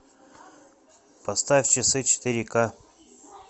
поставь часы четыре ка